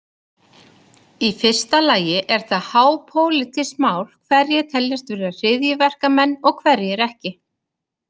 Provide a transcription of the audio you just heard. Í fyrsta lagi er það hápólitískt mál hverjir teljast vera hryðjuverkamenn og hverjir ekki.